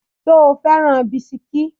Ṣo fẹ́ràn bisikí?